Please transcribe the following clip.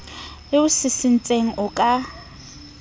le o sisintseng o ka